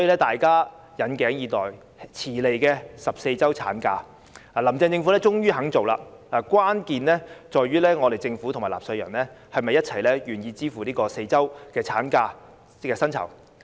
大家引頸以待，遲來的14周產假，"林鄭"政府終於肯做，關鍵在於政府和納稅人是否願意一起支付額外4周產假薪酬。